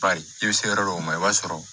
Bari i bɛ se yɔrɔ dɔw ma i b'a sɔrɔ